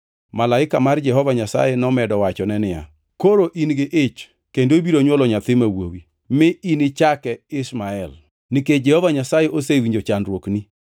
Malaika mar Jehova Nyasaye nomedo wachone niya, “Koro in gi ich kendo ibiro nywolo nyathi ma wuowi, mi inichake Ishmael, nikech Jehova Nyasaye osewinjo chandruokni.